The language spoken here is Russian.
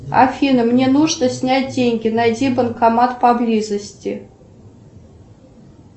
афина мне нужно снять деньги найди банкомат поблизости